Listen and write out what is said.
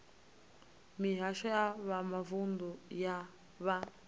mihasho ya mavunḓu ya vha